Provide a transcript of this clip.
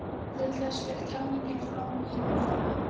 Til þess fer talningin fram í umferðum.